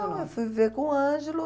Não, eu fui viver com o Ângelo.